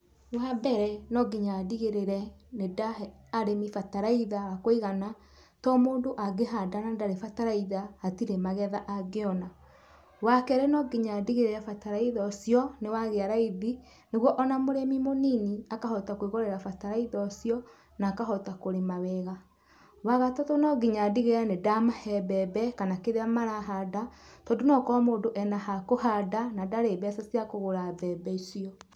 Wambere no nginya ndigĩrĩre nĩ ndahe arĩmi bataraitha wa kũigana, tondũ mũndũ angĩhanda na ndarĩ na bataraitha hatirĩ magetha angĩona. Wakerĩ no nginya ndigĩrĩre bataraitha ũcio nĩ wagĩa raithi nĩguo ona mũrĩmi mũnini akahota kwĩgũrĩra bataraitha ũcio na akahota kũrĩma wega. Wagatatũ no nginya ndigĩrĩre nĩndamahe mbembe kana kĩrĩa marahanda tondũ no ĩkorwo mũndũ ena ha kũhanda na ndarĩ na mbeca cia kũgũra mbembe icio.